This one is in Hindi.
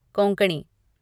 कोंकणी